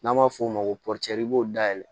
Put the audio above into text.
N'an b'a f'o ma ko i b'o dayɛlɛ